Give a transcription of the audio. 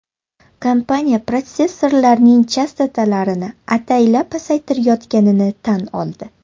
Kompaniya protsessorlarning chastotalarini ataylab pasaytirayotganini tan oldi.